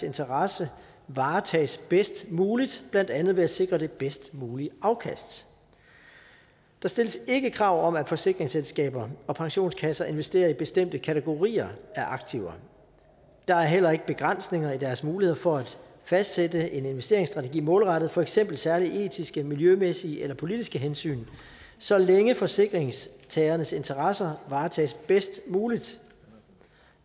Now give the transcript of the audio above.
interesser varetages bedst muligt blandt andet ved at sikre det bedst mulige afkast der stilles ikke krav om at forsikringsselskaber og pensionskasser investerer i bestemte kategorier af aktiver der er heller ikke begrænsninger i deres muligheder for at fastsætte en investeringsstrategi målrettet for eksempel særlige etiske miljømæssige eller politiske hensyn så længe forsikringstagernes interesser varetages bedst muligt